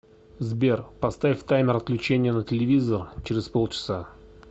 сбер поставь таймер отключения на телевизор через полчаса